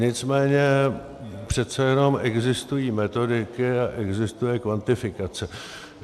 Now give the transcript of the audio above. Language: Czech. Nicméně přece jenom existují metodiky a existuje kvantifikace.